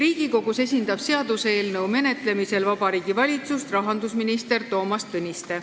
Seaduseelnõu menetlemisel Riigikogus esindab Vabariigi Valitsust rahandusminister Toomas Tõniste.